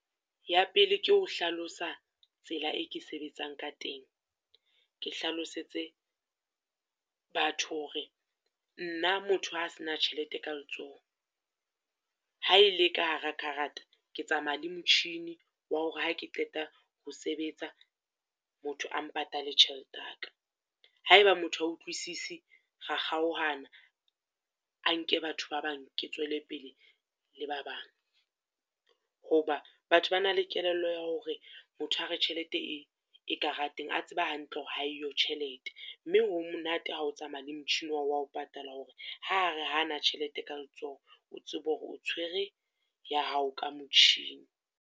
Ya pele ke ho hlalosa tsela e ke sebetsang ka teng. Ke hlalosetse batho hore nna motho a se na tjhelete ka letsoho, ha e le ka hara karata, ke tsamaya le motjhini wa hore ha ke qeta ho sebetsa, motho a mpatale tjhelete ya ka. Ha eba motho ha utlwisisi, ra kgaohana a nke batho ba bang, ke tswele pele le ba bang. Ho ba batho ba na le kelello ya hore motho a re tjhelete e e karateng, a tseba hantle hore ha eyo tjhelete. Mme ho monate ha o tsamaya le motjhini wa hao wa ho patala hore ha re ha ana ka tjhelete ka letsoho, o tsebe hore o tshwere ya hao ka motjhini.